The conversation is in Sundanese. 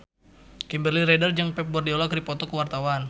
Kimberly Ryder jeung Pep Guardiola keur dipoto ku wartawan